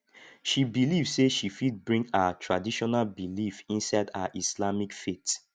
she believe sey she fit bring her traditional belief inside her islamic faith